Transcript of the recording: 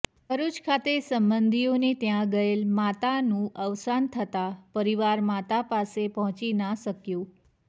ભરૂચ ખાતે સંબંધીઓને ત્યાં ગયેલ માતાનું અવસાન થતાં પરિવાર માતા પાસે પહોંચી ના શક્યું